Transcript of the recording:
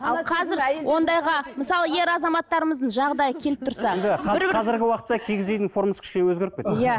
ал қазір ондайға мысалы ер азаматтарымыздың жағдайы келіп тұрса енді қазіргі уақытта үйдің формасы кішкене өзгеріп кетті иә